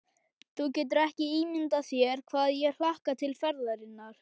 Þú getur ekki ímyndað þér hvað ég hlakka til ferðarinnar.